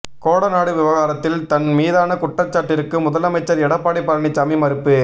கோடநாடு விவகாரத்தில் தன் மீதான குற்றச்சாட்டிற்கு முதலமைச்சர் எடப்பாடி பழனிசாமி மறுப்பு